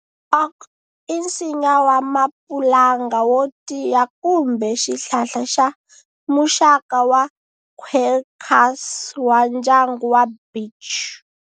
Oak i nsinya wa mapulanga yo tiya kumbe xihlahla xa muxaka wa Quercus wa ndyangu wa beech.